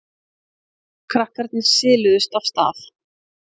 Krakkarnir siluðust af stað.